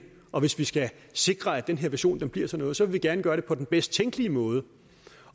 og hvis vi skal sikre at den her vision bliver til noget så vil man gerne gøre det på den bedst tænkelige måde